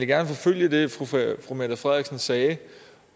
gerne forfølge det fru mette frederiksen sagde